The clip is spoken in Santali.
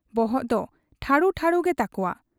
ᱵᱚᱦᱚᱜ ᱫᱚ ᱴᱷᱟᱹᱲᱩ ᱴᱷᱟᱹᱲᱩᱜᱮ ᱛᱟᱠᱚᱣᱟ ᱾